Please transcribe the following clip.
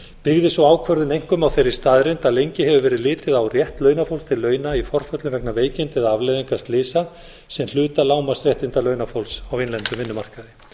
byggði sú ákvörðun einkum á þeirri staðreynd á lengi hefur verið litið á rétt launafólks til launa í forföllum vegna veikinda eða afleiðinga slysa sem hluta lágmarksréttinda launafólks á innlendum vinnumarkaði